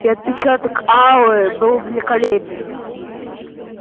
и отпечаток ауры был великолепен